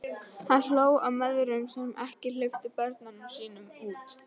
Hann hló að mæðrunum sem ekki hleyptu börnunum sínum út.